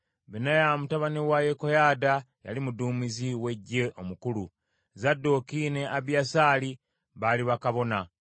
Benaya mutabani wa Yekoyaada, yali muduumizi w’eggye omukulu, Zadooki ne Abiyasaali baali bakabona,